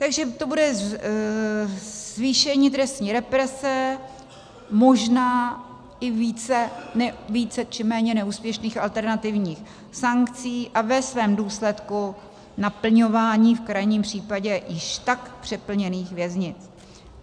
Takže to bude zvýšení trestní represe, možná i více či méně neúspěšných alternativních sankcí, a ve svém důsledku naplňování v krajním případě již tak přeplněných věznic.